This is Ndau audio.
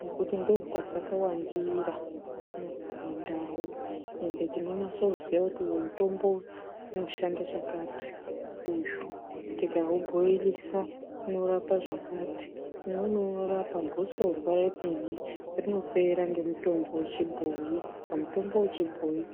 nekuti ndokwa dzakawandira kunouku kuma ndau ende tinonyatso ziva kuti uyu mutombo unoshanda chakati uyu tikauboilisa unorapa zvaakati umweni unorapa gosorwa remene rinopera ngemutombo wechibhoyi saka mutombo wechibhoyi......